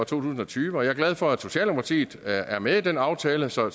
tusind og tyve jeg er glad for at socialdemokratiet er med i den aftale så